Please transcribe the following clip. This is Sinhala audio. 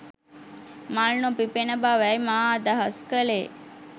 මල් නොපිපෙන බවයි මා අදහස් කලේ